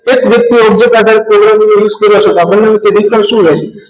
એક વ્યક્તિ object કરતા programming નો use કરો છો સાંભળને વિકલ્પ શું રહેશે